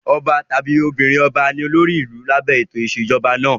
Ọba tàbí obìnrin-ọba ni olórí ìlú lábẹ́ ètò ìṣèjọba ọlọ́ba.